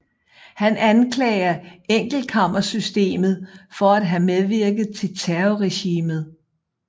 Han anklager enkeltkammersystemet for at have medvirket til terrorregimet